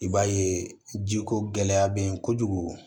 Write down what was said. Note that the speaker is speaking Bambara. I b'a ye jiko gɛlɛya bɛ yen kojugu